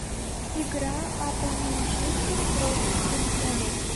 игра апл манчестер против тоттенхэма